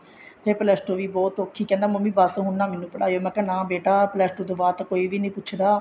ਫ਼ੇਰ plus two ਵੀ ਬਹੁਤ ਔਖੀ ਕਹਿੰਦਾ ਮੰਮੀ ਮੈਨੂੰ ਬੱਸ ਹੁਣ ਨਾ ਮੈਨੂੰ ਪੜ੍ਹਾਇਓ ਮੈਂ ਕਿਹਾ ਨਾ ਬੇਟਾ plus two ਤੋਂ ਬਾਅਦ ਤਾਂ ਕੋਈ ਵੀ ਨੀ ਪੁੱਛਦਾ